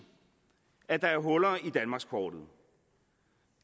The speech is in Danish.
at der er huller i danmarkskortet